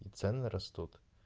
и цены растут